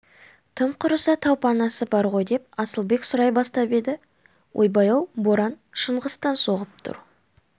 тым құрыса тау панасы бар ғой деп асылбек сұрай бастап еді ойбай-ау боран шыңғыстан соғып тұр